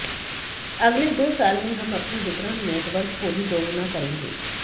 अगले दो साल में हम अपने वितरण नेटवर्क को भी दोगुना करेंगे